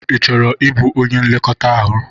Ị chọrọ ịbụ onye nlekọta ọrụ?